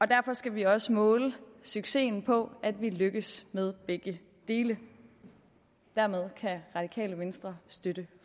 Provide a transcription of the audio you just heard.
derfor skal vi også måle succesen på at vi lykkes med begge dele hermed kan radikale venstre støtte